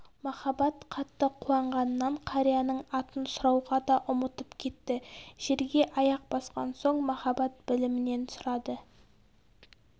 махаббат қатты қуанғанынан қарияның атын сұрауға да ұмытып кетті жерге аяқ басқан соң махаббат білімнен сұрады